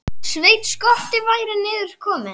Sveinn skotti væri niður kominn.